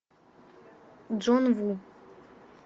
джон ву